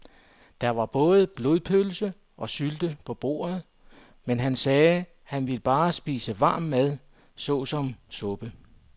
Der var både blodpølse og sylte på bordet, men han sagde, at han bare ville spise varm mad såsom suppe.